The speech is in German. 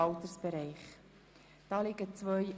Auf die Massnahme ist zu verzichten.